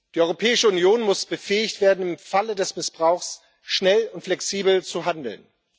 Die Europäische Union muss befähigt werden, im Falle des Missbrauchs schnell und flexibel zu handeln.